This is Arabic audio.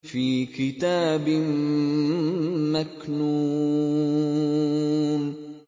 فِي كِتَابٍ مَّكْنُونٍ